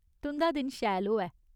तुं'दा दिन शैल होऐ !